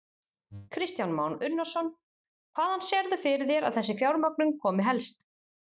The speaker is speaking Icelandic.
Kristján Már Unnarsson: Hvaðan sérðu fyrir þér að þessi fjármögnun komi helst?